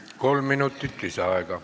Kolm minutit lisaaega.